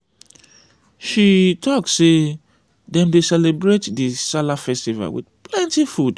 she tok sey dem dey celebrate di sallah festival wit plenty food.